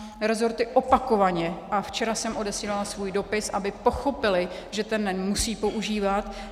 Resorty opakovaně - a včera jsem odesílala svůj dopis, aby pochopily, že ten NEN musí používat.